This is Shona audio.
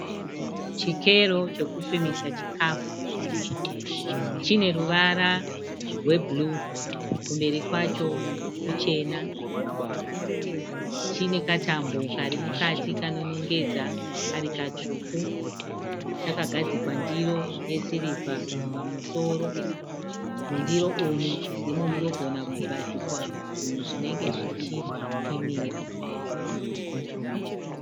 Chikero chekupimisa chikafu. Chine ruvara rwebhuruu. Kumberi kwacho kuchena. Chine katambo kari mukati kanonongedza kari katsvuku. Chakagadzikwa ndiro yesirivha pamusoro. Mundiro umu ndimo munogona kugadzikwa zvinhu zvinenge zvichipimiwa.